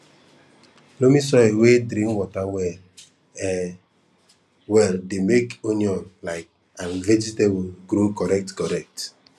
loamy soil wey drain water well um well dey make onion um and vegetables grow correct correct